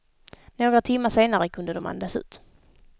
Några timmar senare kunde de andas ut.